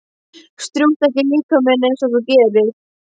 Strjúktu ekki líkama minn einsog þú gerir.